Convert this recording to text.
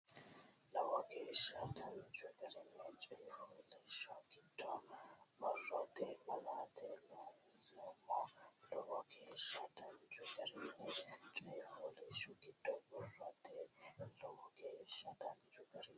Lowo geeshsha danchu garinni coyifooliishsho giddo borrote malaate loonsoommo Lowo geeshsha danchu garinni coyifooliishsho giddo borrote Lowo geeshsha danchu garinni.